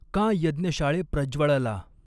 कां यज्ञशाळे प्रज्वळला।